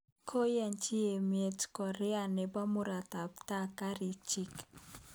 Koyachi tyemet Korea nebo murotakatam kariik chiik